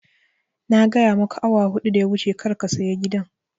Na gaya maka awa huɗu da ya wuce kar ga saya gidan